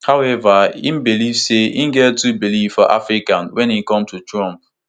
howeva e believe say e get two beliefs for africa wen e come to trump